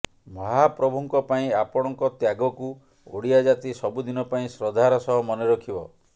ମହାପ୍ରଭୁଙ୍କ ପାଇଁ ଆପଣଙ୍କ ତ୍ୟାଗକୁ ଓଡ଼ିଆ ଜାତି ସବୁଦିନ ପାଇଁ ଶ୍ରଦ୍ଧାର ସହ ମନେ ରଖିବ